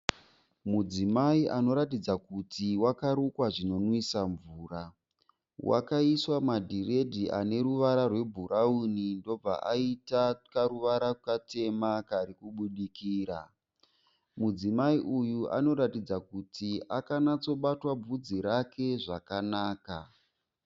Mudzimai anoratidza kuti wakarukwa zvinomwisa mvura Wakaiswa madhiredhi ane ruvara rwebhurauni ndobva aita karuvara katema kari kubudikira. Mudzimai uyu anoratidza kuti akanyatsobatwa bvudzi rake zvakanaka.